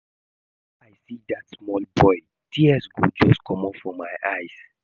Whenever I see dat small boy tears go just comot for my eyes